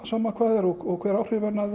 sama hvað það er og hver áhrifin